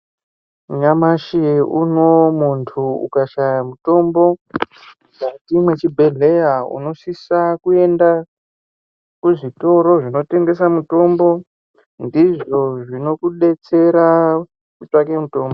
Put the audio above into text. Nyamashi uno muntu ukashaya mutombo mukati mwechibhedhleya. Unosisa kuenda kuzvitoro zvinotengesa mutombo ndizvo zvinokubetsera kutsvake mutombo.